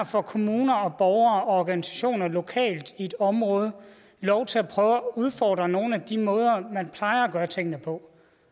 får kommuner og borgere og organisationer lokalt i et område lov til at prøve at udfordre nogle af de måder man plejer at gøre tingene på